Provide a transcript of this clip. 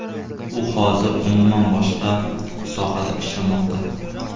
U hozir umuman boshqa sohada ishlamoqda.